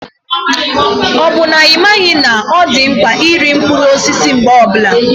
Ka ọ bụ na ị maghị na ọ dị mkpa iri mkpụrụ osisi mgbe ọbula?